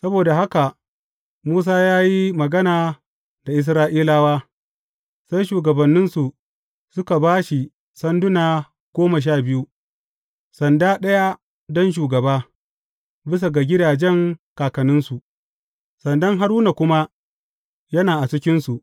Saboda haka Musa ya yi magana da Isra’ilawa, sai shugabanninsu suka ba shi sanduna goma sha biyu, sanda ɗaya don shugaba, bisa ga gidajen kakanninsu, sandan Haruna kuma yana a cikinsu.